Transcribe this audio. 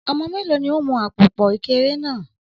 Ọmọ méèló ni ó n mu àpòpọ̀ Ekere náà?